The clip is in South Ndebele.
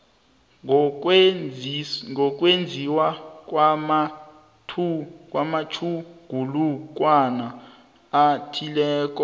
ngokwenziwa kwamatjhugulukwana athileko